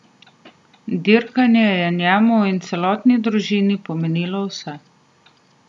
Dirkanje je njemu in celotni družini pomenilo vse.